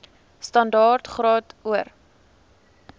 standaard graad or